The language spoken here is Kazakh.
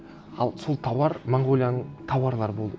ал сол тауар монғолияның тауарлары болды